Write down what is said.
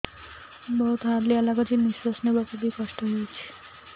ବହୁତ୍ ହାଲିଆ ଲାଗୁଚି ନିଃଶ୍ବାସ ନେବାକୁ ଵି କଷ୍ଟ ଲାଗୁଚି